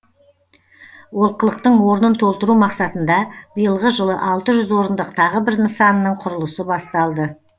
олқылықтың орнын толтыру мақсатында биылғы жылы алты жүз орындық тағы бір нысанның құрылысы басталды